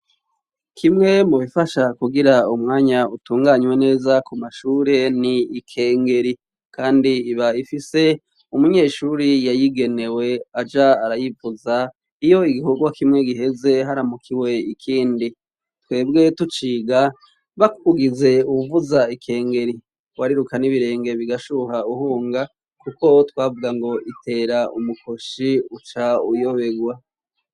Kimwe mubifasha kugira umwanya utunganywe neza kumashure ni ikengeri kandi iba ifise umunyeshuri yayigenewe aja arayivuza iyo igikorwa kimwe giheze haramukiwe ikindi. Twebwe tuciga bakugize uwuvuza ikengeri wariruka n'ibirenge bigashuha uhunga kuko twavuga ngo itera umukoshi uca uyobegwa.